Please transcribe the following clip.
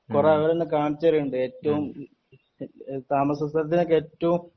കൊറേ ആളുകൾ ഇങ്ങനെ കാണിച്ച് തരുന്നുണ്ട് താമസ സ്ഥലത്തിനൊക്കെ ഏറ്റവും